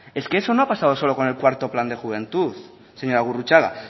es que eso no ha pasado solo con el cuarto plan de juventud señora gurrutxaga